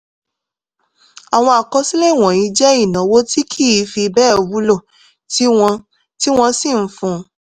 àwọn àkọsílẹ̀ wọ̀nyí jẹ́ ìnáwó tí kì í fi bẹ́ẹ̀ wúlò tí wọ́n tí wọ́n sì ń fún